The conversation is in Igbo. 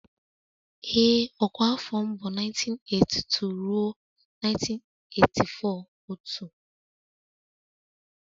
Ee ọkwa afọ m bụ 1982 ruo 1984 otu